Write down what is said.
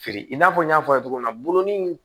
Feere i n'a fɔ n y'a fɔ a ye cogo min na bolonin in